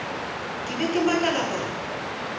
ke be ke makala gore